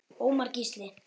Ómar Gísli.